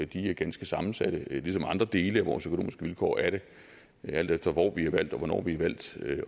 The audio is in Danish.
de er ganske sammensatte ligesom andre dele af vores økonomiske vilkår er det alt efter hvor vi er valgt og hvornår vi er valgt